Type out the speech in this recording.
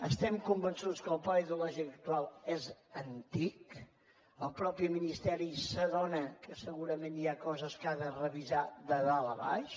estem convençuts que el pla hidrològic actual és antic el mateix ministeri s’adona que segurament hi ha coses que ha de revisar de dalt a baix